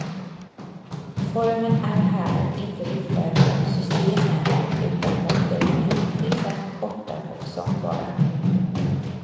Formen är här inte riktad mot systemen utan mot det enskilda, korta och sångbara.